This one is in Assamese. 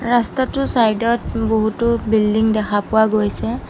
ৰাস্তাটোৰ চাইডত বহুতো বিল্ডিং দেখা পোৱা গৈছে।